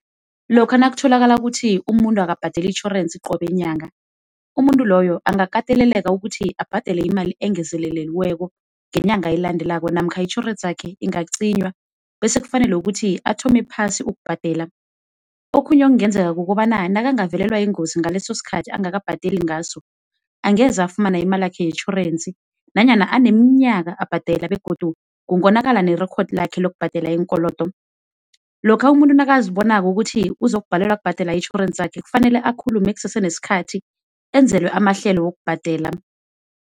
Lokha nakutholakala ukuthi umuntu akabhadeli itjhorensi qobe nyanga, umuntu loyo angakateleleka ukuthi abhadele imali engezelelekiweko ngenyanga elandelako, namkha itjhorensi yakhe ingaqinywa